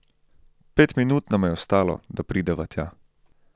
Pet minut nama je ostalo, da prideva tja.